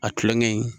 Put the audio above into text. A tulonkɛ in